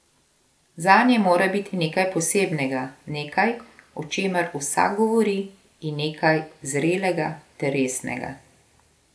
Zanje mora biti nekaj posebnega, nekaj, o čemer vsak govori in nekaj zrelega ter resnega.